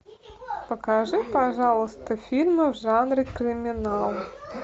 покажи пожалуйста фильмы в жанре криминал